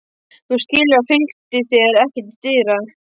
Þú skilur að ég fylgdi þér ekki til dyra.